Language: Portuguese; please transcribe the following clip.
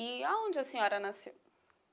E a onde a senhora nasceu?